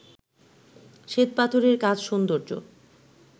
শ্বেতপাথরের কাজ সৌন্দর্য